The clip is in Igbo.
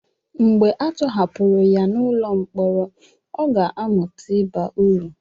mgbe a tọhapụrụ ya n'ụlọ mkpọrọ ọ ga-amụta ịba uru